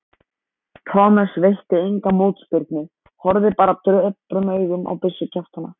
Thomas veitti enga mótspyrnu, horfði bara döprum augum á byssukjaftana.